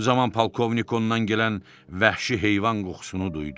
Bu zaman polkovnik ondan gələn vəhşi heyvan qoxusunu duydu.